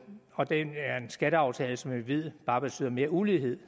skatteaftale som jeg ved bare betyder mere ulighed